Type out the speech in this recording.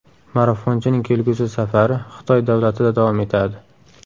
Marafonchining kelgusi safari Xitoy davlatida davom etadi.